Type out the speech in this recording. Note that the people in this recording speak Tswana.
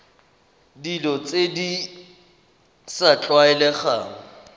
dilo tse di sa tlwaelegang